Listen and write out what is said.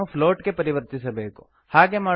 ನಾವದನ್ನು ಪ್ಲೋಟ್ ಗೆ ಪರಿವರ್ತಿಸಬೇಕು